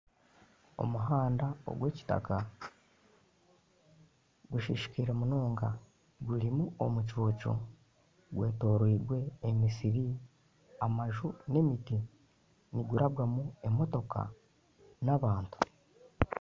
Omuhanda ogw'ekitaka gusisikaire munonga gurimu omucuucu, gwetooriirwe emisiri, amaju n'emiti nigurabwamu emotoka n'abantu